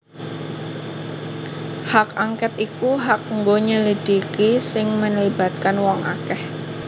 Hak Angket iku hak nggo nyelidiki sing melibatkan wong akeh